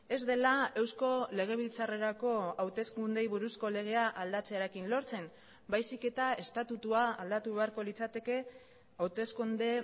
ez dela eusko legebiltzarrerako hauteskundeei buruzko legea aldatzearekin lortzen baizik eta estatutua aldatu beharko litzateke hauteskunde